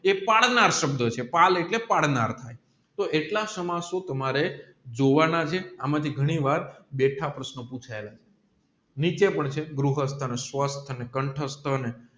એ પાળનાર સબંધ છે પાલ એટલે કે પાડનાર ને તોહ એટલા સમાસો તમારે જોવાના છે એમાં થી ગણી વાર બે ત્રણ પ્રશ્ન પૂછ્યા છે અને કંઠસ્થા ને